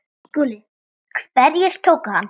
SKÚLI: Hverjir tóku hann?